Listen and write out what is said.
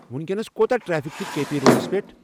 وینکینس کۄتاہ ٹریفِک چُھ K P roads پیٹھ ؟